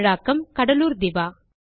தமிழாக்கம் கடலுர் திவா